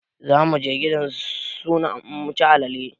Zamuje gidan suna muci alale